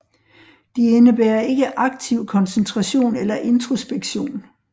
De indebærer ikke aktiv koncentration eller introspektion